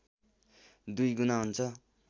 दुई गुणा हुन्छ